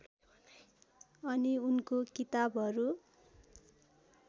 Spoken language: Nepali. अनि उनको किताबहरू